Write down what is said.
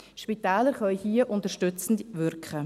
Spitäler können hier unterstützend wirken.